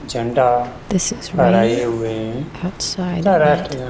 झण्डा फहराए हुए हैं। तथा राष्ट्रगान --